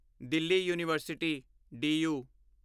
Delhi university do you